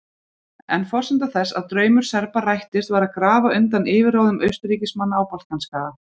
En forsenda þess að draumur Serba rættist var að grafa undan yfirráðum Austurríkismanna á Balkanskaga.